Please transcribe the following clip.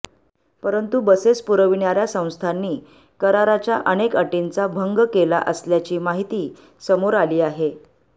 परंतु बसेस पुरविणार्या संस्थांनी कराराच्या अनेक अटींचा भंग केला असल्याची माहिती समोर आली आहे